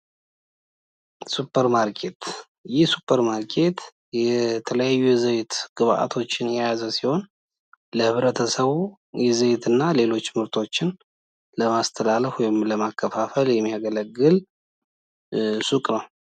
ይህ ሱፐር ማርኬት ሱፐር ማርኬት የተለያዩ ዘይት ግብዓቶችን የያዘ ሲሆን ለህብረተሰቡ የዘይት እና ሌሎች ምርቶችን ለማስተላለፍ እና ለማከፋፈል የሚያገለግል ሱቅ ነው።